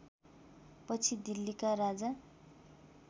पछि दिल्लीका राजा